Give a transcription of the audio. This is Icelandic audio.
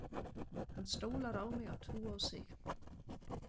Hann stólar á mig að trúa á sig.